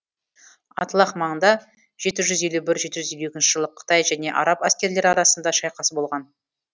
атлах маңында жеті жүз елу бір жеті жүз елу екінші жылы қытай және араб әскерлері арасында шайқас болған